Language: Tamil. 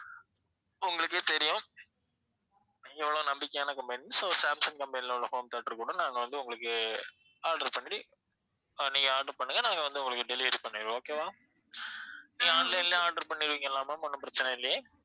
உங்களுக்கே தெரியும் எவ்வளவு நம்பிக்கையான company so சாம்சங் company ல உள்ள home theater கூட நாங்க வந்து உங்களுக்கு order பண்ணி அஹ் நீங்க order பண்ணுங்க நாங்க வந்து உங்களுக்கு delivery பண்ணிடுவோம் okay வா நீங்க online லயே order பண்ணிடுவிங்கல்ல ma'am ஒண்ணும் பிரச்சனை இல்லையே